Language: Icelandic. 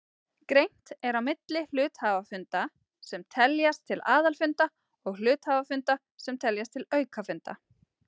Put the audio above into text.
Greint er á milli hluthafafunda sem teljast til aðalfunda og hluthafafunda sem teljast til aukafunda.